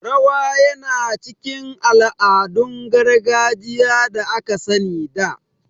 Rawa yana cikin ala'adun gargajiya da aka sani a da